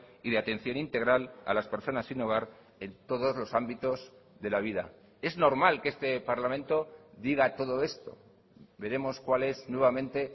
y de atención integral a las personas sin hogar en todos los ámbitos de la vida es normal que este parlamento diga todo esto veremos cuál es nuevamente